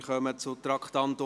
Wir kommen zum Traktandum 24.